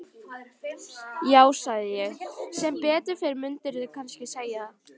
Já, sagði ég, sem betur fer mundirðu kannski segja.